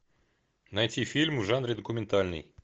найти фильм в жанре документальный